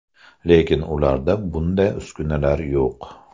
Lekin ularda bunday uskunalar yo‘q.